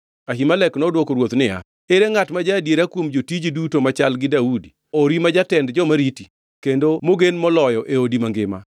Ahimelek nodwoko ruoth niya, “Ere ngʼat ma ja-adiera kuom jotiji duto machal gi Daudi ori ma jatend joma riti, kendo mogen moloyo e odi mangima?